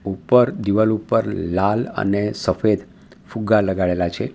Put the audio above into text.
ઉપર દીવાલ ઉપર લાલ અને સફેદ ફુગ્ગા લગાડેલા છે.